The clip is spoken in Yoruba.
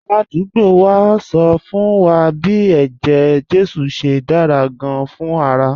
Aládùúgbò wa ń sọ fún wa bí eje-jesu ṣe dára gan-an fún ara